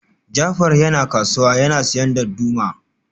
Jafar yana kasuwa yana siyan darduma